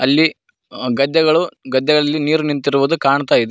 ಅಲ್ಲಿ ಅ ಗದ್ದೆಗಳು ಗದ್ದೆಗಳಲ್ಲಿ ನೀರು ನಿಂತಿರುವುದು ಕಾಣ್ತಾ ಇದೆ.